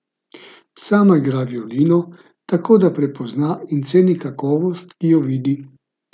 Sama igra violino, tako da prepozna in ceni kakovost, ko jo vidi.